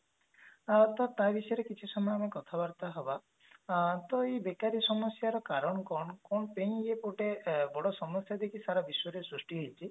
ଅ ତା ବିଷୟରେ କିଛି ସମୟ ଆମେ କଥା ବାର୍ତା ହବା ଆଁ ତ ଏଇ ବେକାରି ସମସ୍ଯା ର କାରଣ କଣ କଣ ପେଇଁ ଏ ଗୋଟେ ବଡ ସମସ୍ଯା ଯେ କି ସାରା ବିଶ୍ବରେ ସୃଷ୍ଟି ହେଇଛି